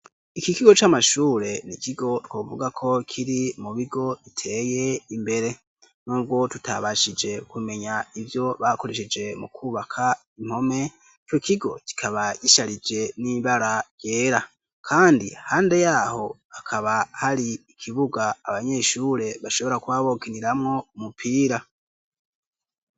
Iki kigo c'amashure ni ikigo twovuga ko kiri mu bigo biteye imbere n'ubwo tutabashije kumenya ivyo bakoresheje mu kwubaka impome ico kigo kikaba gisharije n'ibara ryera kandi iruhande yaho hakaba hari ikibuga abanyeshure bashobora kuba bokiniramwo mupira.